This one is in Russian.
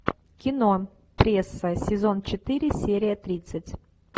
кино пресса сезон четыре серия тридцать